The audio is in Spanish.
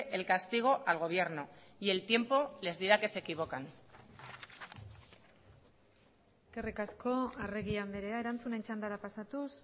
el castigo al gobierno y el tiempo les dirá que se equivocan eskerrik asko arregi andrea erantzunen txandara pasatuz